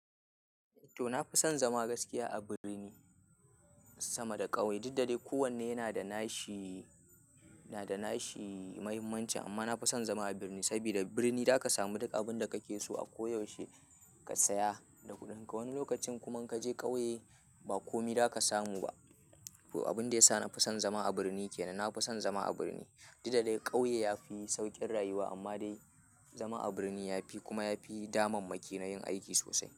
To, na fi son zama gaskiya a birni sama da ƙauye. Duk da dai kowanne yana da nashi, yana da nashi mahimmanci amma na fi son zama a birni. Saboda birni zaka samu duk abun da kake so a ko yaushe ka saya da kuɗinka. Wani lokacin kuma in kaje ƙauye, ba komai zaka samu ba. Abun da ya sa na fi son zama a birni ke nan. Na fi son zama a birni. Duk da dai ƙauye ya fi sauƙin rayuwa amma dai zama a birni ya fi kuma ya fi damammaki na yin aiki sosai.